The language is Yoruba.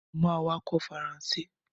Mo ma wá kọ́ Faransé